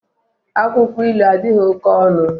Akwụkwọ ilu adịghị oke ọnụ